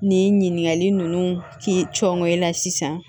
Nin ɲininkakali ninnu k'i cɔn ŋɔɲɛ la sisan